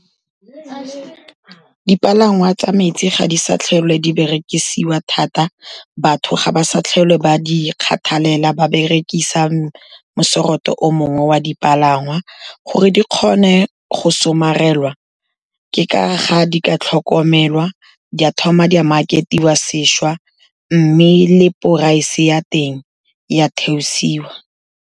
Dipalangwa tsa metsi ga di sa tlhole di berekisiwa thata, batho ga ba sa tlhole ba di kgathalela, ba berekisa mo-sort-o o mongwe wa dipalangwa, gore di kgone go somarela ke ka ga di ka tlhokomelwa, di a thoma dimarketiwa sešwa, mme le price-e ya teng ya theosiwa.